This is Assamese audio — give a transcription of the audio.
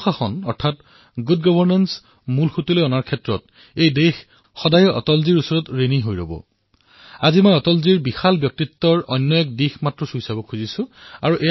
সুশাসন অৰ্থাৎ ভাল শাসনক মুখ্য ধাৰালৈ অনাৰ বাবে এই দেশে সদায়েই অটলজীৰ প্ৰতি কৃতজ্ঞ হৈ ৰব কিন্তু আজি অটলজীৰ বিশাল ব্যক্তিত্বৰ আন এটা দিশ কেৱল স্পৰ্শ কৰিবলৈ বিচাৰিছোঁ